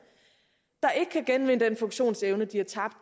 der ikke kan genvinde den funktionsevne de har tabt